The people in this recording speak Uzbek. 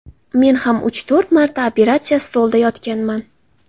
Men ham uch, to‘rt marta operatsiya stolida yotganman.